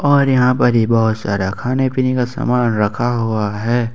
और यहां पर ही बहोत सारा खाने पीने का सामान रखा हुआ है।